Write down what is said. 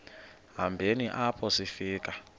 hambeni apho sifika